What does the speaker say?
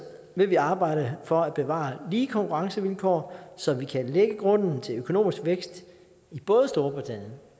vil vi arbejde for at bevare lige konkurrencevilkår så vi kan lægge grunden til økonomisk vækst i både storbritannien